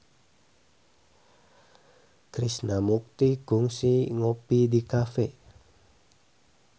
Krishna Mukti kungsi ngopi di cafe